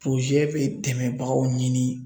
bɛ dɛmɛbagaw ɲini.